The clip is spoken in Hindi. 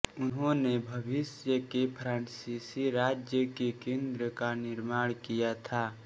इन्होंने भविष्य के फ्रांसीसी राज्य के केंद्र का निर्माण किया था